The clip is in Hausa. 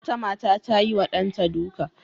Wata mata ta yiwa ɗanta duka.